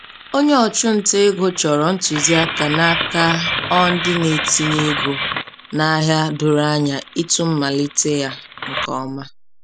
Onye ọchụ nta ego chọrọ ntụziaka n'aka o ndị na- etinye ego n'ahịa doro anya ịtụ mmalite ya nke ọma.